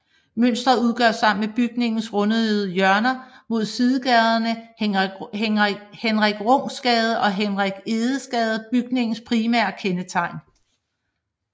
Mønstret udgør sammen med bygningens rundede hjørner mod sidegaderne Henrik Rungs Gade og Hans Egedes Gade bygningens primære kendetegn